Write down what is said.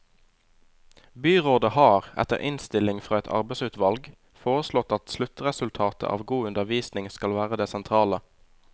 Byrådet har, etter innstilling fra et arbeidsutvalg, foreslått at sluttresultatet av god undervisning skal være det sentrale.